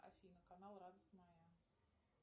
афина канал радость моя